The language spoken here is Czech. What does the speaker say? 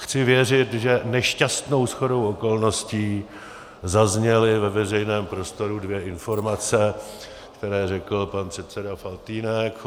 Chci věřit, že nešťastnou shodou okolností zazněly ve veřejném prostoru dvě informace, které řekl pan předseda Faltýnek.